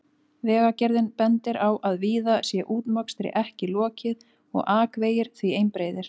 Vegagerðin bendir á að víða sé útmokstri ekki lokið og akvegir því einbreiðir.